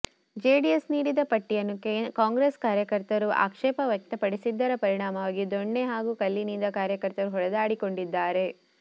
JDS ನೀಡಿದ್ದ ಪಟ್ಟಿಯನ್ನು ಕಾಂಗ್ರೆಸ್ ಕಾರ್ಯಕರ್ತರು ಆಕ್ಷೇಪ ವ್ಯಕ್ತಪಡಿಸಿದ್ದರ ಪರಿಣಾಮವಾಗಿ ದೊಣ್ಣೆ ಹಾಗೂ ಕಲ್ಲಿನಿಂದ ಕಾರ್ಯಕರ್ತರು ಹೊಡಿದಾಡಿಕೊಂಡಿದ್ದಾರೆ